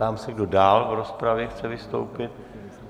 Ptám se, kdo dál do rozpravy chce vystoupit.